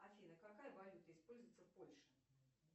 афина какая валюта используется в польше